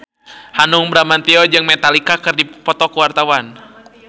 Hanung Bramantyo jeung Metallica keur dipoto ku wartawan